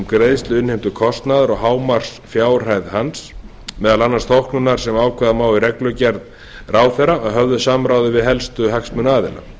greiðslu innheimtukostnaðar og hámarksfjárhæð hans meðal annars þóknunar sem ákveða má í reglugerð ráðherra að höfðu samráði við helstu hagsmunaaðila